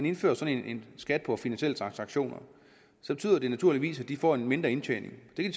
indfører sådan en skat på finansielle transaktioner naturligvis betyde at de får en mindre indtjening den